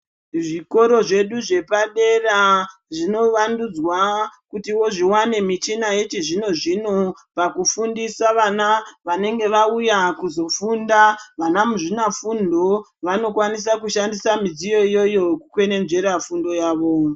Zvikoro zvedu zvepadera zvinovandudzwa kutiwo zviwane michina yechizvinozvino pakufundisa vana vanenge vauya kuzofunda vana muzvinafundo vanokwanisa midziyo iyoyo kukwenenzvera fundo yavo.